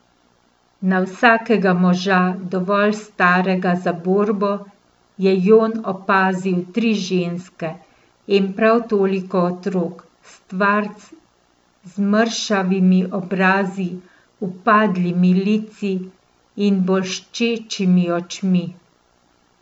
Na vsakega moža, dovolj starega za borbo, je Jon opazil tri ženske in prav toliko otrok, stvarc z mršavimi obrazi, upadlimi lici in bolščečimi očmi.